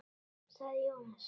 sagði Jóhann.